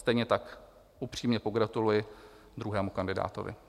Stejně tak upřímně pogratuluji druhému kandidátovi.